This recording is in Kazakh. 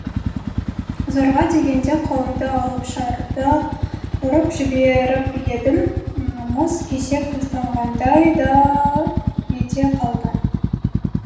зорға дегенде қолымды алып шарды ұрып жіберіп едім мұз кесек ұстағандай да ете қалды